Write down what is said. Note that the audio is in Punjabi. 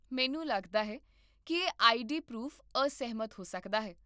ਮੈਨੂੰ ਲੱਗਦਾ ਹੈ ਕਿ ਇਹ ਆਈਡੀ ਪਰੂਫ਼ ਅਸਹਿਮਤ ਹੋ ਸਕਦਾ ਹੈ